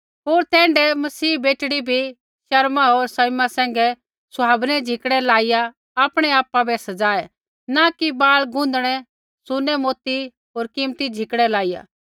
होर तैण्ढै ही मसीह बेटड़ी भी शर्मा होर सँयमा सैंघै सुहावनै झिकड़ै लाइया आपणै आपा बै सज़ाऐ न कि बाल गुँधणै सुनै मोतियै होर कीमती झिकड़ै लाइया